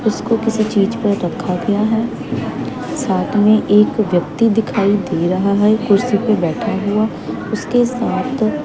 उसको किसी चीज पर रखा गया है साथ में एक व्यक्ती दिखाई दे रहा है कुर्सी पे बैठा हुआ उसके साथ--